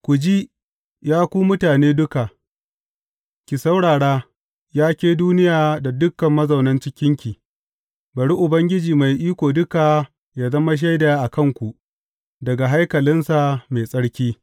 Ku ji, ya ku mutane duka, ki saurara, ya ke duniya da dukan mazauna cikinki, bari Ubangiji Mai Iko Duka yă zama shaida a kanku, daga haikalinsa mai tsarki.